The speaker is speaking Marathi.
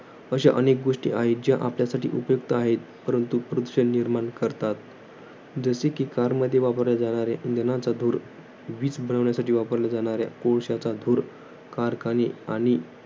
अशा अनेक गोष्टी आहेत. ज्या आपल्यासाठी उपयुक्त आहेत. परंतु प्रदूषण निर्माण करतात. जसे कि car मध्ये वापरल्या जाणाऱ्या इंधनाचा धूर. वीज बनवण्यासाठी वापरल्या जाणाऱ्या कोळशाचा धूर. कारखाने आणि